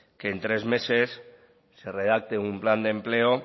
que en tres meses se redacte un plan de empleo